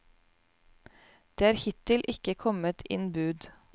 Det er hittil ikke kommet inn bud.